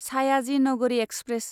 Sayaji Nagari express